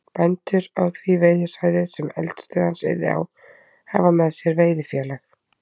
Bændur á því veiðisvæði, sem eldisstöð hans yrði á, hafa með sér veiðifélag